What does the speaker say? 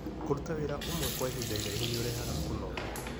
Kũruta wĩra ũmwe kwa ihinda iraihu nĩ ũrehaga kũnoga.